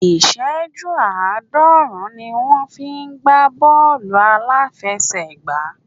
Ìṣẹ́jú àádọ́rùn-ún ni wón fi ń gbá Bọ́ọ̀lù aláfiẹsẹ̀ gbá.